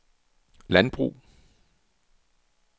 landbrug